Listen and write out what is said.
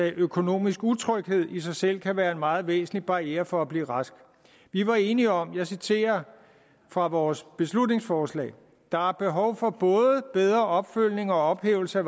at økonomisk utryghed i sig selv kan være en meget væsentlig barriere for at blive rask og vi var enige om og jeg citerer fra vores beslutningsforslag der er behov for både bedre opfølgning og ophævelse af